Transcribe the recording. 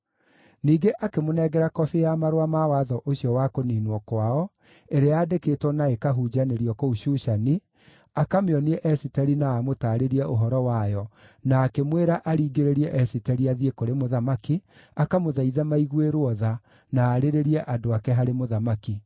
Ningĩ akĩmũnengera kobi ya marũa ma watho ũcio wa kũniinwo kwao, ĩrĩa yandĩkĩtwo na ĩkahunjanĩrio kũu Shushani, akamĩonie Esiteri na amũtaarĩrie ũhoro wayo, na akĩmwĩra aringĩrĩrie Esiteri athiĩ kũrĩ mũthamaki, akamũthaithe maiguĩrwo tha, na aarĩrĩrie andũ ake harĩ mũthamaki.